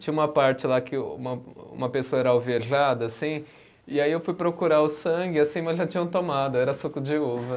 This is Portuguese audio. Tinha uma parte lá que o uma, uma pessoa era alvejada assim, e aí eu fui procurar o sangue assim, mas já tinham tomado, era suco de uva.